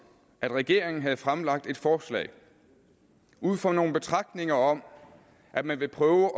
at regeringen havde fremsat et forslag ud fra nogle betragtninger om at man ville prøve